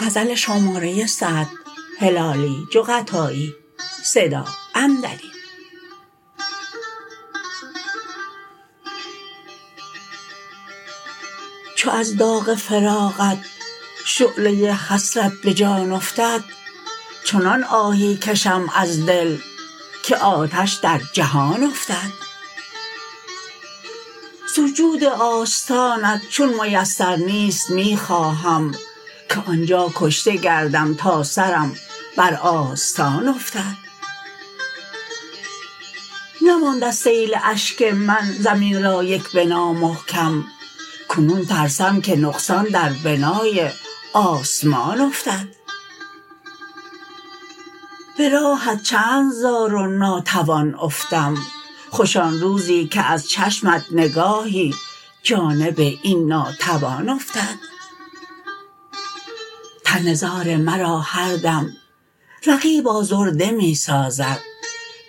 چو از داغ فراقت شعله حسرت به جان افتد چنان آهی کشم از دل که آتش در جهان افتد سجود آستانت چون میسر نیست می خواهم که آنجا کشته گردم تا سرم بر آستان افتد نماند از سیل اشک من زمین را یک بنا محکم کنون ترسم که نقصان در بنای آسمان افتد به راهت چند زار و ناتوان افتم خوش آن روزی که از چشمت نگاهی جانب این ناتوان افتد تن زار مرا هر دم رقیب آزرده می سازد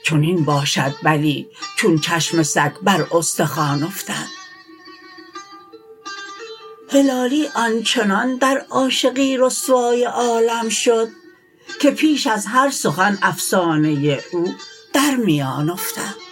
چنین باشد بلی چون چشم سگ بر استخوان افتد هلالی آن چنان در عاشقی رسوای عالم شد که پیش از هر سخن افسانه او در میان افتد